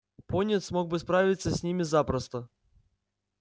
пониетс мог бы справиться с ними запросто